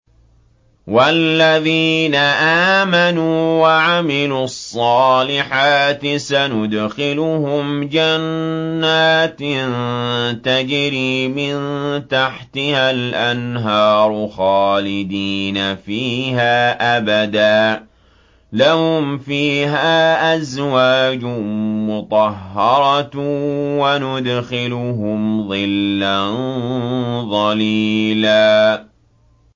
وَالَّذِينَ آمَنُوا وَعَمِلُوا الصَّالِحَاتِ سَنُدْخِلُهُمْ جَنَّاتٍ تَجْرِي مِن تَحْتِهَا الْأَنْهَارُ خَالِدِينَ فِيهَا أَبَدًا ۖ لَّهُمْ فِيهَا أَزْوَاجٌ مُّطَهَّرَةٌ ۖ وَنُدْخِلُهُمْ ظِلًّا ظَلِيلًا